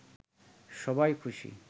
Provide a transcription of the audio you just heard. সবাই খুশি